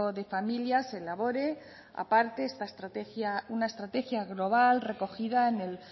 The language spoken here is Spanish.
de familias se elabore aparte esta estrategia una estrategia global recogida en el